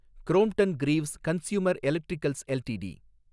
Crompton Greaves Consumer Electricals LTD